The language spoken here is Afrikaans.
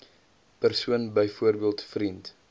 persoon byvoorbeeld vriend